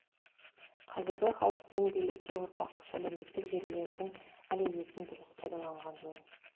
қазіргі халық пен билікке ортақ күш әлеуметтік желілердің әлеуетін дұрыс пайдаланған жөн